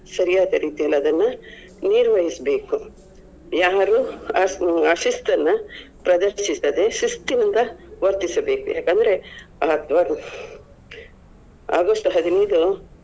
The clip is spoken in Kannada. ಸರಿಯಾದ ರೀತಿಯಲ್ಲಿ ಅದನ್ನ ನಿರ್ವಹಿಸ್ಬೇಕು. ಯಾರು ಆ~ ಆಶಿಸ್ತನ್ನ ಪ್ರದರ್ಶಿಸದೆ ಶಿಸ್ತಿನಿಂದ ವರ್ತಿಸಬೇಕು. ಯಾಕಂದ್ರೆ ಆ ಹ್ಮ್ ಅಗಸ್ಟ್ ಹದಿನೈದು.